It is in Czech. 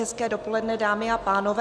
Hezké dopoledne, dámy a pánové.